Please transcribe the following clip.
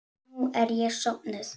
Nú er ég sofnuð.